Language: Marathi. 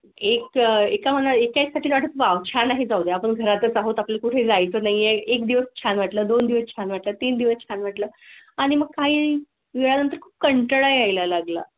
एक एका मला एक कळत वा छान आहे. जाऊ दे आपण घरातच आहोत आपल्या कुठे जाय चं नाही एक दिवस छान वाटलं दोन दिवस छान वाटलं तीन दिवस छान वाटलं आणि मग काही वेळा नंतर कंटाळा यायला लागला.